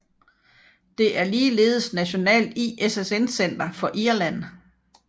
Det er ligeledes nationalt ISSN center for Irland